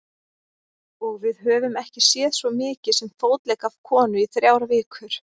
Og við höfum ekki séð svo mikið sem fótlegg af konu í þrjár vikur.